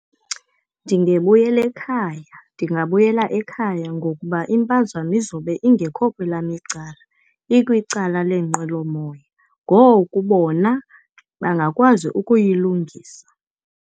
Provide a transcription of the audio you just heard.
Ndingebuyela ekhaya. Ndingabuyela ekhaya ngokuba impazamo izobe ingekho kwelam icala, ikwicala leenqwelomoya. Ngoku bona bangakwazi ukuyilungisa.